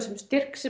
styrk sem